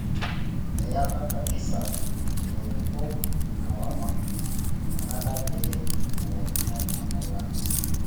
Eyaka kabisa lairukok lawama inakata pee elaikino atalaa